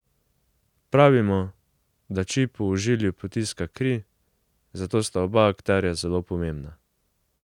Pravimo, da či po ožilju potiska kri, zato sta oba akterja zelo pomembna.